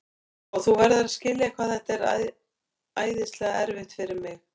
Sko, þú verður að skilja hvað þetta er æðislega erfitt fyrir mig.